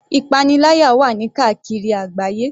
Ìpaniláyà wà ní káàkiri àgbáyé.